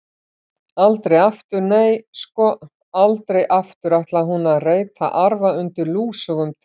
Aldrei aftur, nei, sko, aldrei aftur ætlaði hún að reyta arfa undir lúsugum trjám.